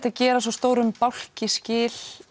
að gera svo stórum bálki skil